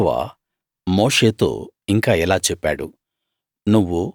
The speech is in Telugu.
యెహోవా మోషేతో ఇంకా ఇలా చెప్పాడు